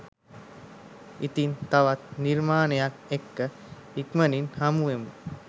ඉතින් තවත් නිර්මාණයක් එක්ක ඉක්මනින්ම හමුවෙමු